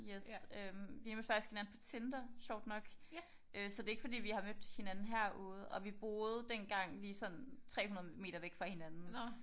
Yes. Øh vi mødte faktisk hinanden på Tinder sjovt nok øh så det er ikke fordi vi har mødt hinanden herude og vi boede dengang lige sådan 300 meter væk fra hinanden